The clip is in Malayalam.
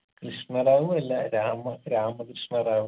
കൃഷ്ണ റാവു അല്ല രാമ രാമ കൃഷ്ണ റാവു